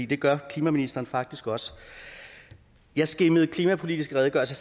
det gør klimaministeren faktisk også jeg skimmede nogle klimapolitisk redegørelser